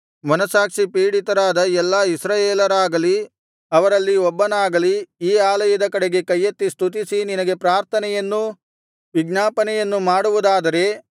ಮನಸ್ಸಾಕ್ಷಿ ಪೀಡಿತರಾದ ಎಲ್ಲಾ ಇಸ್ರಾಯೇಲರಾಗಲಿ ಅವರಲ್ಲಿ ಒಬ್ಬನಾಗಲಿ ಈ ಆಲಯದ ಕಡೆಗೆ ಕೈಯೆತ್ತಿ ಸ್ತುತಿಸಿ ನಿನಗೆ ಪ್ರಾರ್ಥನೆಯನ್ನೂ ವಿಜ್ಞಾಪನೆಯನ್ನು ಮಾಡುವುದಾದರೆ